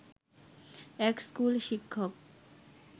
এক স্কুল শিক্ষক